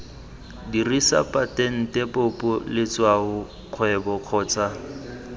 dirisa patente popo letshwaokgwebo kgotsa